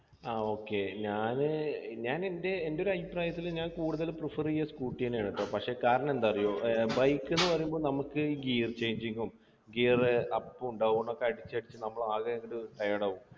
ആ okay ഞാന് ഞാനെൻ്റെ എൻ്റെ ഒരഭിപ്രായത്തില് ഞാൻ കൂടുതൽ prefer ചെയ്യാ scooter ന്നെയാണ് ട്ടോ പക്ഷേ കാരണം എന്താ അറിയോ ഏർ bike എന്ന് പറയുമ്പോ നമുക്ക് gier changing ഉം gier up ഉം down ഒക്കെ അടിച്ചടിച്ച് നമ്മൾ ആകെ ഒരു tired ആവും